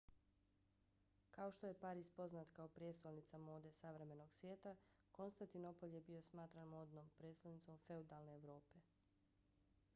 kao što je pariz poznat kao prijestolnica mode savremenog svijeta konstantinopolj je bio smatran modnom prijestolnicom feudalne evrope